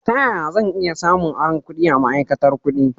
Ta ƴaƴa zan iya samun aron ƙudi a ma'aikatar ƙudi?